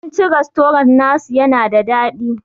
Abincin rastorant na su yana da daɗi.